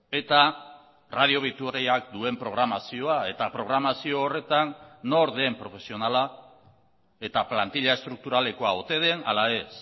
eta radio vitoriak duen programazioa eta programazio horretan nor den profesionala eta plantila estrukturalekoa ote den ala ez